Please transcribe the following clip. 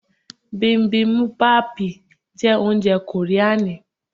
Bibimubapi jẹ́ oúnjẹ kòríani.